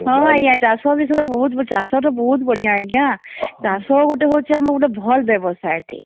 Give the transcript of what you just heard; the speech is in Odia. ହଁହଁ ଆଂଜ୍ଞା ଚାଷ ବିଶୟେ ବହୁତ ଚାଷ ତା ବହୁତ ବଢିଆ ଆଂଜ୍ଞା ଚାଷ ହଉଛେ ଆମର ଗୋଟେ ଭଲ ବ୍ୟବସାୟ ଟେ